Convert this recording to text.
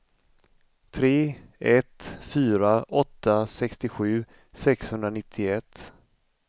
tre ett fyra åtta sextiosju sexhundranittioett